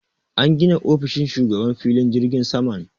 An gina ofishin shugaban filin jirgin saman.